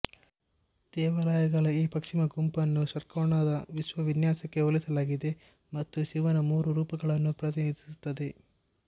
ದೇವಾಲಯಗಳ ಈ ಪಶ್ಚಿಮ ಗುಂಪನ್ನು ಷಟ್ಕೋನದ ವಿಶ್ವ ವಿನ್ಯಾಸಕ್ಕೆ ಹೋಲಿಸಲಾಗಿದೆ ಮತ್ತು ಶಿವನ ಮೂರು ರೂಪಗಳನ್ನು ಪ್ರತಿನಿಧಿಸುತ್ತದೆ